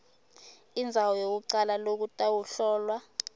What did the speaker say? indzawo yekucala lokutawuhlolwa